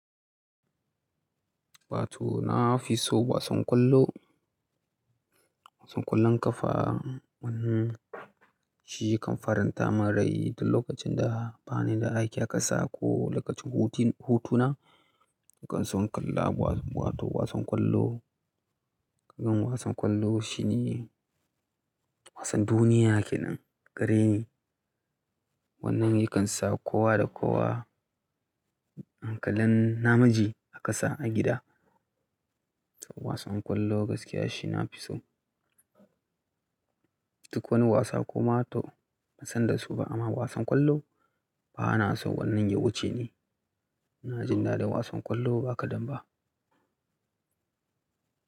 Wato na fi so wasan ƙwallo. Wasan ƙwallon ƙafa, shi kan faranta min rai duk lokacin da ba ni da aiki a ƙasa ko lokacin hutun, hutuna. Nakan so in kalla, wato wasan ƙwallo. Dan wasan ƙwallo shi ne wasan duniya kenan gareni. Wannan yakan sa kowa da kowa an kalan namiji a ƙasa, a gida. Wasan ƙwallo gaskiya shi na fi so. Duk wani wasa koma to ban san da su ba amma wasan ƙwallo bana so wannan ya wuce ni. Ina jin daɗin wasan ƙwallo ba kaɗan ba.